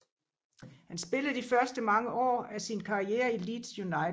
Han spillede de første mange år af sin karriere i Leeds United